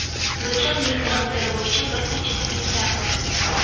Bizda uning transferi bo‘yicha bir qancha takliflar bor.